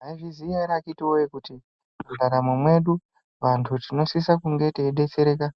Mwaizviziya ere akhiti voye kuti mundaramo mwedu vantu tinosisa kunge teibetsereka